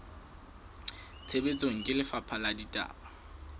tshebetsong ke lefapha la ditaba